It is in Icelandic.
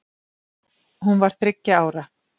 Hún var þriggja ára.